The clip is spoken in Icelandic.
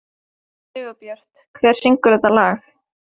Sigurbjört, hver syngur þetta lag?